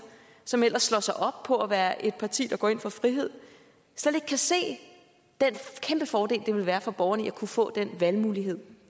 som ellers slår sig op på at være et parti der går ind for frihed slet ikke kan se den kæmpefordel det vil være for borgerne at kunne få den valgmulighed